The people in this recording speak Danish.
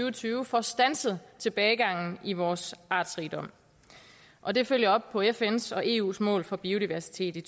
og tyve får standset tilbagegangen i vores artsrigdom og den følger op på fns og eus mål for biodiversitet i